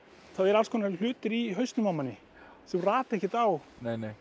þá eru alls konar hlutir í hausnum á manni sem rata ekkert á